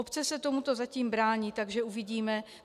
Obce se tomuto zatím brání, takže uvidíme.